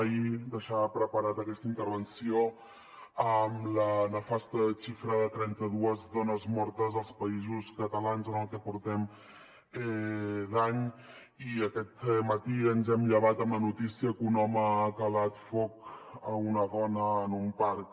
ahir deixava preparada aquesta intervenció amb la nefasta xifra de trenta dues dones mortes als països catalans en el que portem d’any i aquest matí ens hem llevat amb la notícia que un home ha calat foc a una dona en un parc